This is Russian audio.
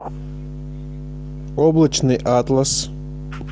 облачный атлас